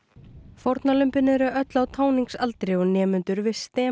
fórnarlömbin eru öll á táningsaldri og nemendur við